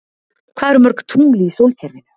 Hvað eru mörg tungl í sólkerfinu?